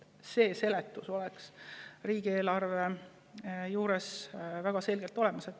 Selline seletus peaks olema riigieelarve juures väga selgelt olemas.